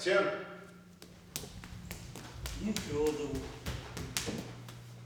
нефедову